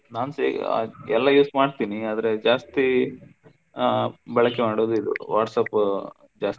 ನಾನ್ಸ ಎಲ್ಲಾ use ಮಾಡ್ತೀನಿ ಆದ್ರೆ ಜಾಸ್ತಿ ಆಹ್ ಬಳಕೆ ಮಾಡುವುದು ಇದು WhatsApp ಜಾಸ್ತಿ.